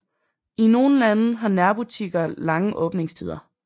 I nogle lande har nærbutikker lange åbningstider